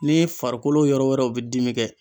N'i farikolo yɔrɔ wɛrɛw b'i dimi kɛ